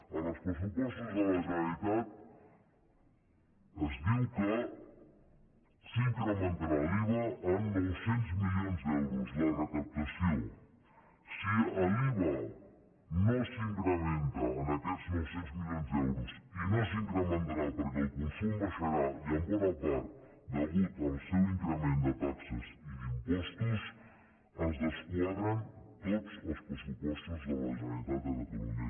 en els pressupostos de la generalitat es diu que s’incrementarà l’iva en nou cents milions d’euros la recaptació si l’iva no s’incrementa en aquests nou cents milions d’euros i no s’incrementarà perquè el consum baixarà i en bona part a causa del seu increment de taxes i d’impostos es desquadren tots els pressupostos de la generalitat de catalunya